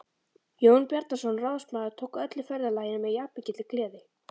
Jón Bjarnason ráðsmaður tók öllu ferðalaginu með jafnmikilli gleði.